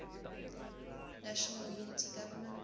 national unity government